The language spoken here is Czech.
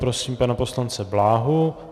Prosím pana poslance Bláhu.